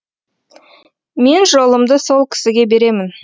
мен жолымды сол кісіге беремін